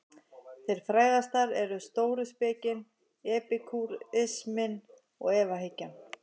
Þeirra frægastar eru stóuspekin, epikúrisminn og efahyggjan.